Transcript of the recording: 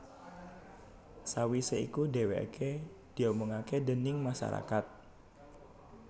Sawisé iku dhèwèké diomongaké déning masarakat